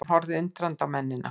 Hann horfði undrandi á mennina.